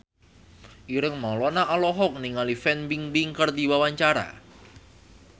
Ireng Maulana olohok ningali Fan Bingbing keur diwawancara